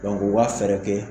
Dɔnku o ka fɛrɛ kɛ